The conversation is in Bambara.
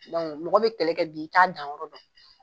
mɔgɔ bi kɛlɛkɛ bi, i t'a danyɔrɔ dɔn.